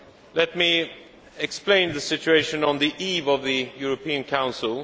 Let me explain the situation on the eve of the European Council.